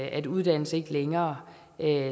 at uddannelse ikke længere